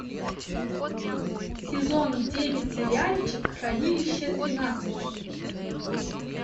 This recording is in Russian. сезон девять сериальчик хранилище тринадцать